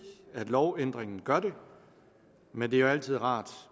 at lovændringen gør det men det er jo altid rart